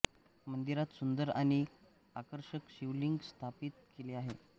मंदिरात सुंदर आणि आकर्षक शिवलिंग स्थापित केले आहे